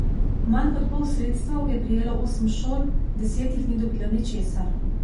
Manj kot pol sredstev je prejelo osem šol, deset jih ni dobilo ničesar.